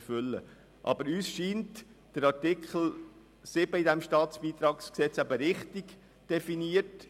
Uns scheint der Artikel 7 StBG richtig definiert.